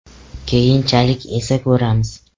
Keyinchalik esa ko‘ramiz.